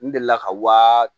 N delila ka wa